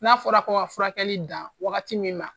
N'a fɔra ko ka furakɛli dan wagati min na